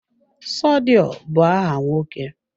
Sodiq bụ áhà nwoke.